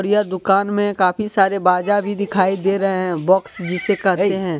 यह दुकान में काफी सारे बाजा भी दिखाई दे रहे हैं। बॉक्स जिसे कहते हैं।